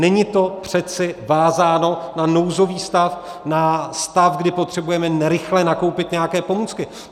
Není to přece vázáno na nouzový stav, na stav, kdy potřebujeme rychle nakoupit nějaké pomůcky.